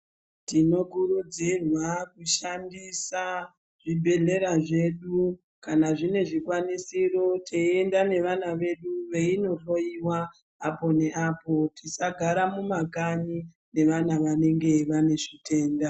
Tino kurudzirwa ku shandisa zvi bhedhlera zvedu kana zvine zvi kwanisiro teyi enda ne vana vedu veino hloyiwa apo ne apo tisagara mu makanyi ne vana vanenge vane zvitenda.